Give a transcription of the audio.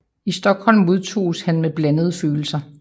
I Stockholm modtoges han med blandede følelser